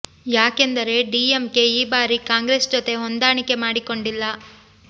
ಯಾಕೆಂದರೆ ಡಿಎಂಕೆ ಈ ಬಾರಿ ಕಾಂಗ್ರೆಸ್ ಜೊತೆ ಹೊಂದಾಣಿಕೆ ಮಾಡಿ ಕೊಂಡಿಲ್ಲ